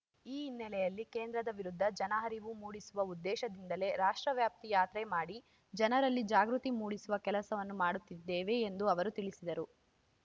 ಈ ಹಿನ್ನೆಲೆಯಲ್ಲಿ ಕೇಂದ್ರದ ವಿರುದ್ಧ ಜನಾರಿವು ಮೂಡಿಸುವ ಉದ್ದೇಶದಿಂದಲೇ ರಾಷ್ಟ್ರವ್ಯಾಪಿ ಯಾತ್ರೆ ಮಾಡಿ ಜನರಲ್ಲಿ ಜಾಗೃತಿ ಮೂಡಿಸುವ ಕೆಲಸವನ್ನು ಮಾಡುತ್ತಿದ್ದೇವೆ ಎಂದು ಅವರು ತಿಳಿಸಿದರು